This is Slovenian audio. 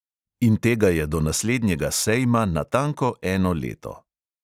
In tega je do naslednjega sejma natanko eno leto.